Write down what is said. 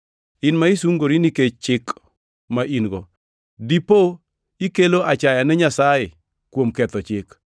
In ma isungori nikech Chik ma in-go, dipo ikelo achaya ne Nyasaye kuom ketho Chik?